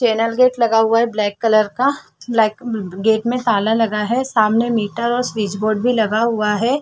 Channel gate लगा हुआ है ब्लैक कलर ब्लैक गेट में ताला लगा है सामने मीटर और स्विच बोर्ड भी लगा हुआ है।